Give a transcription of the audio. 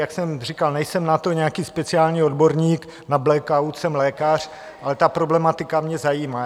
Jak jsem říkal, nejsem na to nějaký speciální odborník, na blackout, jsem lékař, ale ta problematika mě zajímá.